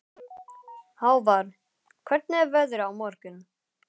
Hávarr, hvernig er veðrið á morgun?